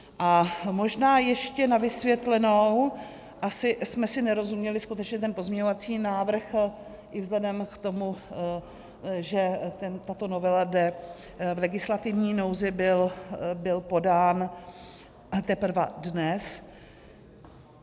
A možná ještě na vysvětlenou, asi jsme si nerozuměli: skutečně ten pozměňovací návrh - i vzhledem k tomu, že tato novela jde v legislativní nouzi - byl podán teprve dnes.